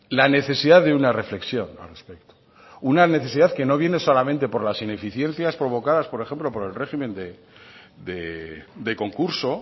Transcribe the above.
la necesidad de una reflexión al respecto una necesidad que no viene solamente por las ineficiencias provocadas por ejemplo por el régimen de concurso